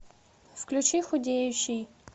включи худеющий